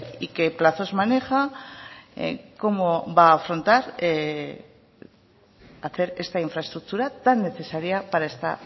y qué plazos maneja cómo va a afrontar hacer esta infraestructura tan necesaria para esta